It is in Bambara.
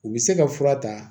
U bɛ se ka fura ta